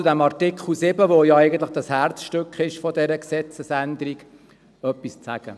Artikel 7 ist eigentlich das Herzstück dieser Gesetzesänderung, und ich erlaube mir, noch einmal darauf zurückzukommen.